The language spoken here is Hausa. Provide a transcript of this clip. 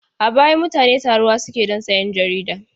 A baya mutane taruwa suke don sayan jarida.